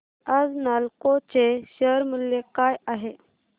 आज नालको चे शेअर मूल्य काय आहे